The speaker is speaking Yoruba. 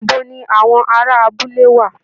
Ibo ni àwọn ará abúlé wà?